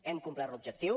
hem complert l’objectiu